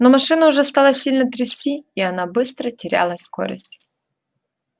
но машину уже стало сильно трясти и она быстро теряла скорость